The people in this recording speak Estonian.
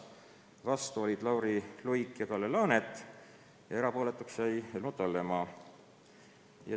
Vastu olid Lauri Luik ja Kalle Laanet ja erapooletuks jäi Helmut Hallemaa.